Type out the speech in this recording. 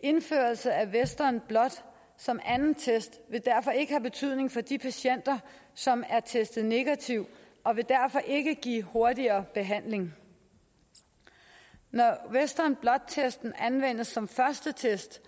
indførelse af western blot som anden test vil derfor ikke have betydning for de patienter som er testet negativt og vil derfor ikke give hurtigere behandling når western blot testen anvendes som første test